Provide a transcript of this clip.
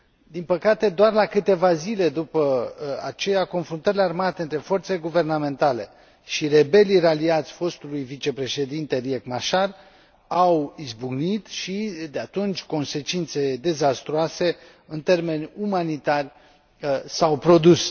Din păcate, doar la câteva zile după aceea, confruntările armate între forțele guvernamentale și rebelii raliați fostului vicepreședinte Riek Machar au izbucnit și, de atunci, consecințe dezastruoase în termeni umanitari s au produs.